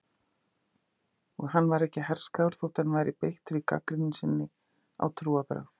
Og hann var ekki herskár þótt hann væri beittur í gagnrýni sinni á trúarbrögð.